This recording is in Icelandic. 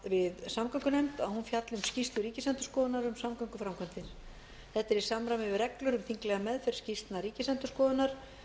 við samgöngunefnd að hún fjalli um skýrslu ríkisendurskoðunar um samgönguframkvæmdir þetta er í samræmi við reglur um þinglega